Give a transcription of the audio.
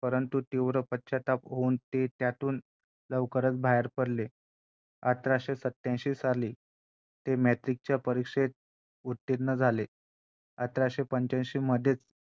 जणु काय देवाने त्यांना वेगळीच शक्ती दिली की ते सगळ्या गोष्टी उत्तम रित्या समतूल राखू शकतात सगळ्याच गोष्टींचा.